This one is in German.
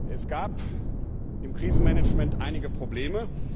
Es gab im Krisenmanagement einige Probleme.